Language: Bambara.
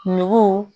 Nugu